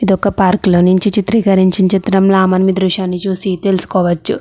ఇది ఒక పార్క్ లో నుంచి చిత్రీకరించిన చిత్రంల మనం ఈ దృశ్యాన్ని చూసి తెలుసుకోవచ్చు.